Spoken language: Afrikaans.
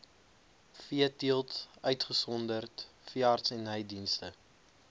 veeteelt uitgesonderd veeartsenydienste